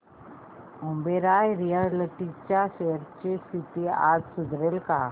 Oberoi realty च्या shares ची स्थिती आज सुधारेल का